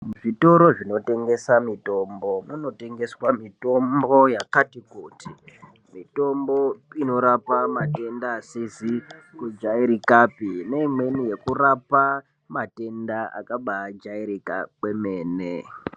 Muzvitoro zvinotengesa mitombo, munotengeswa mitombo yakati kuti, mitombo inorapa matenda asizi kujairika neimweni yekurape matenda akabajairika kwemene.